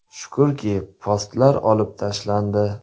Shukrki, postlar olib tashlandi.